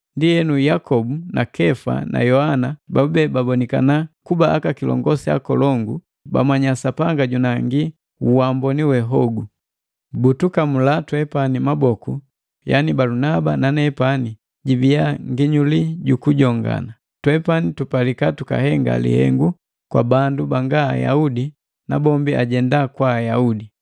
Ndienu Yakobu na Kefa na Yohana babube babonikana kuba aka kilongosi akolongu, bamanya Sapanga junangi uamboni we hogu. Butukamula twepani maboku, yani Balunaba na nepani, jibiya nginyuli jukujongana. Twepani tupalika tukahenga lihengu kwa bandu banga Ayaudi na bombi ajenda kwa Ayaudi.